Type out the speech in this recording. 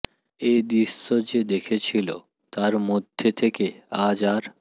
এ দৃশ্য যে দেখেছিল তার মধ্যে থেকে আজ আর